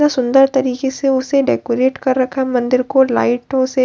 बहुत सुंदर तरीके से उसे डेकोरेट कर रखा हैं मंदिर को लाइटों से --